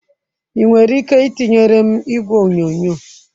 Ị nwere ike itinyere m igwe onyonyo?